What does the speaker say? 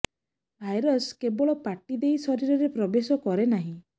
virus କେବଳ ପାଟି ଦେଇ ଶରୀରରେ ପ୍ରବେଶ କରେ ନାହିଁ